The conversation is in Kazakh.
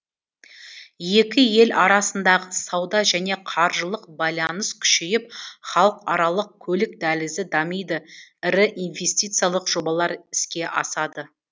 екі ел арасындағы сауда және қаржылық байланыс күшейіп халықаралық көлік дәлізі дамиды ірі инвестициялық жобалар іске асады